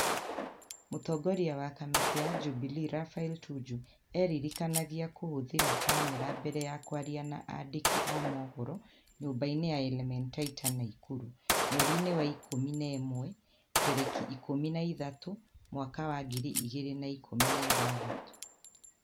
Mũtongoria wa kamĩtĩ ya Jubilee Raphael Tuju eririkanagia kũhũthĩra n kamera mbere ya kwaria na andĩki a mohoro nyũmba-inĩ ya Elementaita, Nakuru, mweri-ini wa ikumuna ĩmwe tereki ikumi naithatũ mwaka wa ngiri igĩrĩ na ikumi na ithathatũ